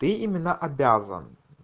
ты имено обязан